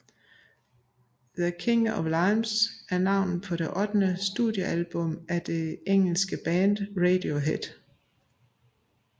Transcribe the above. The King of Limbs er navnet på det ottende studiealbum af engelske band Radiohead